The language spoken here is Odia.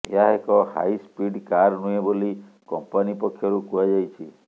ଏହା ଏକ ହାଇ ସ୍ପିଡ୍ କାର ନୁହେଁ ବୋଲି କମ୍ପାନୀ ପକ୍ଷରୁ କୁହାଯାଇଛି